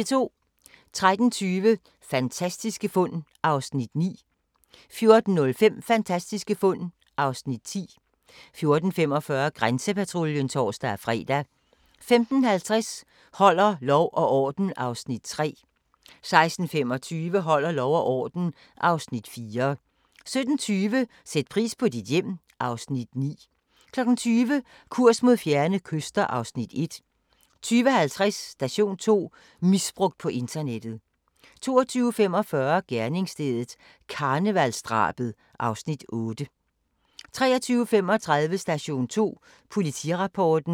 13:20: Fantastiske fund (Afs. 9) 14:05: Fantastiske fund (Afs. 10) 14:45: Grænsepatruljen (tor-fre) 15:50: Holder lov og orden (Afs. 3) 16:25: Holder lov og orden (Afs. 4) 17:20: Sæt pris på dit hjem (Afs. 9) 20:00: Kurs mod fjerne kyster (Afs. 1) 20:50: Station 2: Misbrugt på internettet 22:45: Gerningsstedet – karnevalsdrabet (Afs. 8) 23:35: Station 2: Politirapporten